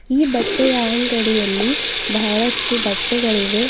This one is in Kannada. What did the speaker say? ಈ ಬಟ್ಟೆಯ ಅಂಗಡಿಯಲ್ಲಿ ಬಹಳಷ್ಟು ಬಟ್ಟೆಗಳಿವೆ.